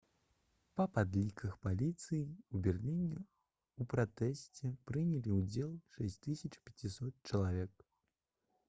па падліках паліцыі ў берліне ў пратэсце прынялі ўдзел 6500 чалавек